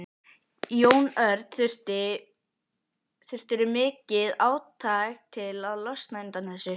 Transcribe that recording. Jón Örn: Þurftirðu mikið átak til að losna undan þessu?